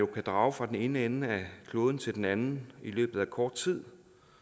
kan drage fra den ene ende af kloden til den anden i løbet af kort tid